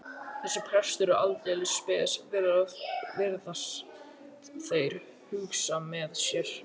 Þessi prestur er aldeilis spes, virðast þeir hugsa með sér.